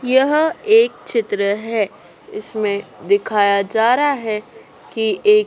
यह एक चित्र है इसमें दिखाया जा रहा है कि एक--